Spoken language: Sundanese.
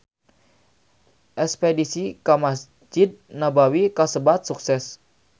Espedisi ka Mesjid Nabawi kasebat sukses